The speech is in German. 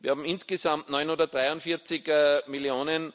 Wir haben insgesamt 943 Mio.